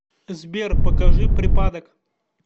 сбер покажи припадок